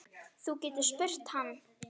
Þú getur spurt hann.